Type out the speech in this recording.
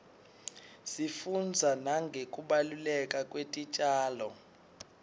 sifunbza nangekubaluleka kwetitjalo